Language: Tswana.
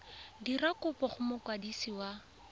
dira kopo go mokwadisi wa